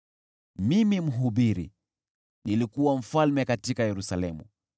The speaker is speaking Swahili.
Mimi, Mhubiri, nilikuwa mfalme wa Israeli katika Yerusalemu.